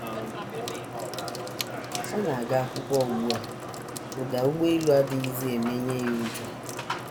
Ọ na - aga akwụkwọ ugbu a, ụda ụgbọelu adịghịzi emenye ya ụjọ.